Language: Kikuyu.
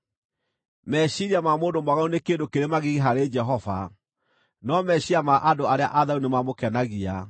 Meciiria ma mũndũ mwaganu nĩ kĩndũ kĩrĩ magigi harĩ Jehova, no meciiria ma andũ arĩa atheru nĩmamũkenagia.